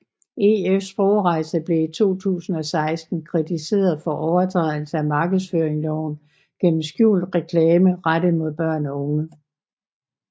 EF Sprogrejser blev i 2016 kritiseret for overtrædelse af markedsføringsloven gennem skjult reklame rettet mod børn og unge